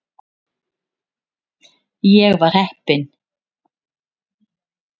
Ég var heppinn.